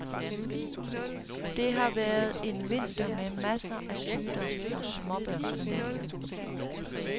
Det har været en vinter med masser af sygdom hos småbørnsfamilierne.